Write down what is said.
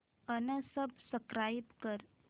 unsubscribe कर